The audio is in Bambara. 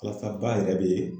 Walasa ba yɛrɛ be